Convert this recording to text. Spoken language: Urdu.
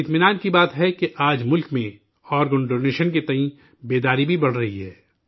اطمینان کی بات ہے کہ آج ملک میں آرگن ڈونیشن کے تئیں بیداری بھی بڑھ رہی ہے